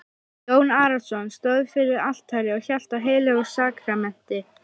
Jón Arason stóð fyrir altari og hélt á heilögu sakramenti.